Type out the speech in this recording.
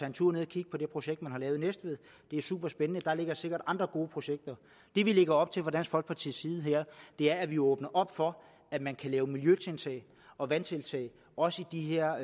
en tur ned at kigge på det projekt man har lavet i næstved det er superspændende der ligger sikkert andre gode projekter det vi lægger op til fra dansk folkepartis side er at vi åbner op for at man kan lave miljøtiltag og vandtiltag også i de her